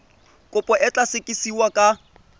kopo e tla sekasekiwa ka